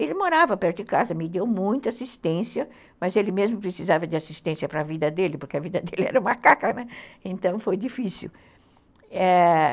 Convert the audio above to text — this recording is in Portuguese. Ele morava perto de casa, me deu muita assistência, mas ele mesmo precisava de assistência para a vida dele, porque a vida dele era macaca, né, então foi difícil, ãh